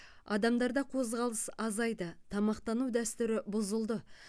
адамдарда қозғалыс азайды тамақтану дәстүрі бұзылды